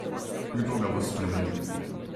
Kdo ga bo spremenil?